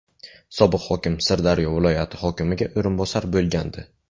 Sobiq hokim Sirdaryo viloyati hokimiga o‘rinbosar bo‘lgandi.